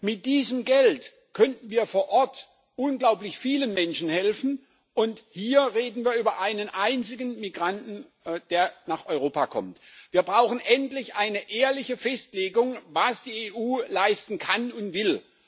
Mit diesem Geld könnten wir vor Ort unglaublich vielen Menschen helfen, und hier reden wir über einen einzigen Migranten, der nach Europa kommt. Wir brauchen endlich eine ehrliche Festlegung, was die EU leisten kann und will.